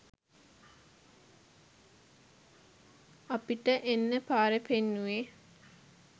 අපිට එන්න පාර පෙන්නුවේ